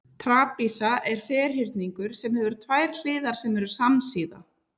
trapisa er ferhyrningur sem hefur tvær hliðar sem eru samsíða